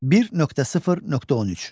1.0.13.